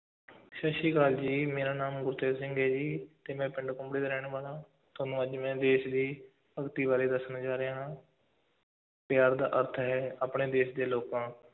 ਸਤਿ ਸ੍ਰੀ ਅਕਾਲ ਜੀ, ਮੇਰਾ ਨਾਮ ਗੁਰਤੇਜ ਸਿੰਘ ਹੈ ਜੀ, ਤੇ ਮੈਂ ਪਿੰਡ ਕੁੰਬੜੇ ਦਾ ਰਹਿਣ ਵਾਲਾ ਹਾਂ, ਤੁਹਾਨੂੰ ਅੱਜ ਮੈਂ ਦੇਸ਼ ਦੀ ਭਗਤੀ ਬਾਰੇ ਦੱਸਣ ਜਾ ਰਿਹਾ ਹਾਂ ਪਿਆਰ ਦਾ ਅਰਥ ਹੈ, ਆਪਣੇ ਦੇਸ਼ ਦੇ ਲੋਕਾਂ,